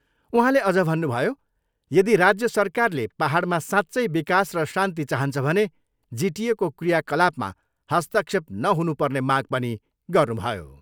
उहाँले अझ भन्नुभयो, यदि राज्य सरकारले पाहाडमा साँच्चै विकास र शान्ति चाहन्छ भने जिटिएको क्रियाकलापमा हस्तक्षेप नहुनुपर्ने माग पनि गर्नुभयो।